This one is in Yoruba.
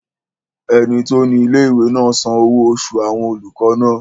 Ẹni tó ní ilé-ìwé náà san owó oṣù àwọn olùkọ́ náà